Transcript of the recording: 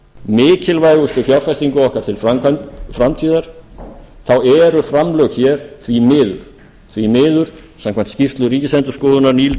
mikilvægustu fjárfestingu okkar til framtíðar þá eru framlög hér því miður samkvæmt skýrslu ríkisendurskoðunar